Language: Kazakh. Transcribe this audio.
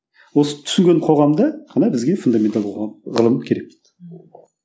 осы түсінген қоғамда ғана бізге фундаменталды қоғам ғылым керек ммм